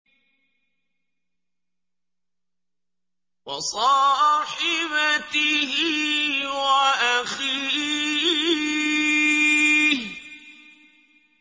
وَصَاحِبَتِهِ وَأَخِيهِ